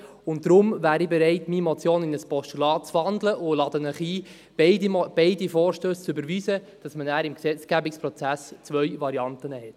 Deshalb bin ich bereit, meine Motion in ein Postulat zu wandeln, und lade Sie ein, beide Vorstösse zu überweisen, damit man danach im Gesetzgebungsprozess zwei Varianten hat.